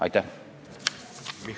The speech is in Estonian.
Aitäh!